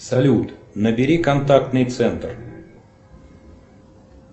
салют набери контактный центр